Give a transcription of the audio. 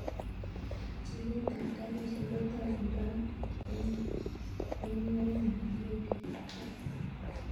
Chilet ab garishek kotokundono en orenyun newendi kap kasi